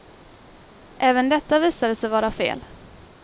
Även detta visade sig vara fel.